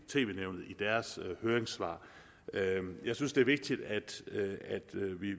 tv nævnet i deres høringssvar jeg synes det er vigtigt at